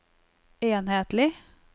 enhetlig